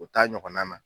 O t'a ɲɔgɔnna na